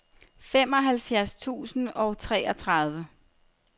femoghalvfjerds tusind og treogtredive